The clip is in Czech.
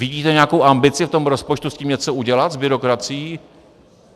Vidíte nějakou ambici v tom rozpočtu s tím něco udělat, s byrokracií?